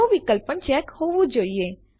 show વિકલ્પ પણ check હોવું જોઈએ